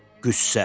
Qüssə.